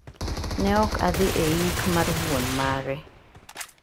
Ne ok adhi e yik mar wuon mare.